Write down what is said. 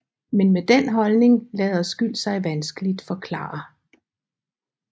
Men med den holdning lader skyld sig vanskeligt forklare